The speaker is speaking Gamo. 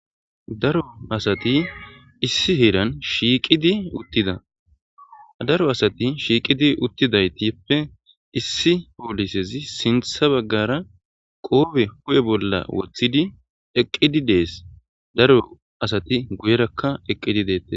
Daro asati issi heeran shiiqidi uttida daro asati shiiqidi uttidaytippe issi poolisezi sintha baggara qoobe hu7e bolla wothidi eqqidi dees daro asati guyerakka eqqidi beeti